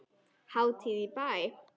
Hátíð í bæ